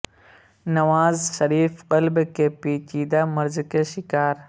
نواز شریف قلب کے پیچیدہ مرض کے شکار